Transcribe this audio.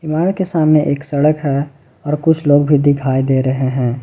बाहर के सामने एक सड़क है और कुछ लोग भी दिखाई दे रहे हैं।